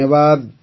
ଧନ୍ୟବାଦ